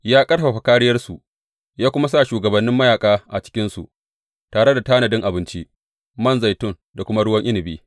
Ya ƙarfafa kāriyarsu ya kuma sa shugabannin mayaƙa a cikinsu, tare da tanadin abinci, man zaitun da kuma ruwan inabi.